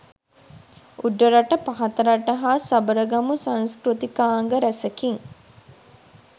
උඩරට පහතරට හා සබරගමු සංස්කෘතිකාංග රැසකින්